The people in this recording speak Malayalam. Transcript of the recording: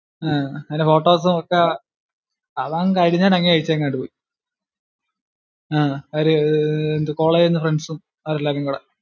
അഹ് അതിൻ്റെ photos ഉം ഒക്കെ അവൻ കഴിഞ്ഞേടെ എണീറ്റങ്ങ് പോയി. അഹ് അവര് college ഇൽ നിന്ന് friends ഉം അവരെല്ലാരും കൂടെ